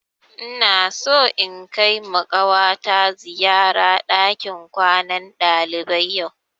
Ina so in kaima ƙawata ziyara ɗakin kwanan ɗalibai yau